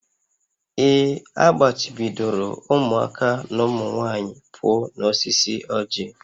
Ee, a gbachibidoro ụmụaka na ụmụ nwanyị pụọ n'osisi ọjị